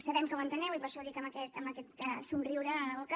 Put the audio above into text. sabem que ho enteneu i per això ho dic amb aquest somriure a la boca